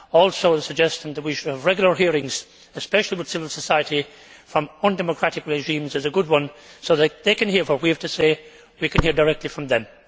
Also, the suggestion that we should have regular hearings, especially with civil society from undemocratic regimes, is a good one, so that they can hear what we have to say, and we can hear directly from them.